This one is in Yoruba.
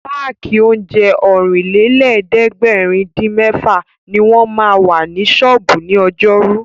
Páàkì oúnjẹ Ọ̀rìnlélẹ̀ẹ́dẹ́gbèrin-dín-mẹ́fà ní wọ́n ma wà ní ṣọ́ọ̀bú ní ọjọ́rú